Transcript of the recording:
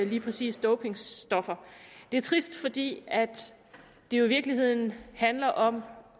lige præcis dopingstoffer det er trist fordi det i virkeligheden handler om